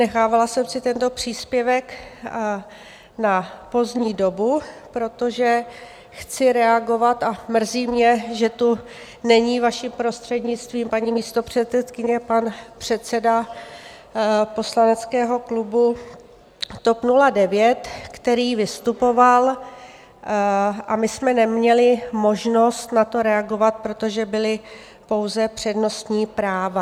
Nechávala jsem si tento příspěvek na pozdní dobu, protože chci reagovat, a mrzí mě, že tu není, vaší prostřednictvím, paní místopředsedkyně, pan předseda poslaneckého klubu TOP 09, který vystupoval, a my jsme neměli možnost na to reagovat, protože byla pouze přednostní práva.